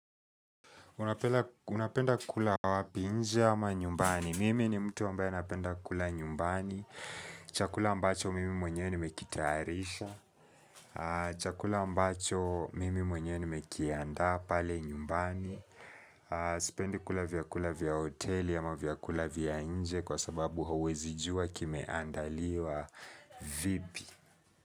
Unapenda kula wapi nje ama nyumbani. Mimi ni mtu ambaye napenda kula nyumbani. Chakula ambacho mimi mwenyewe nimekitayarisha Chakula ambacho mimi mwenyewe nimekiadaa pale nyumbani. Sipendi kula vyakula vya hoteli ama vyakula vya nje kwa sababu hauwezijua kimeandaliwa vipi.